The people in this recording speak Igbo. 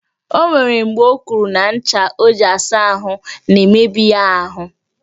O nwere mgbe o kwuru na ncha o ji asa ahụ na-emebi ya ahụ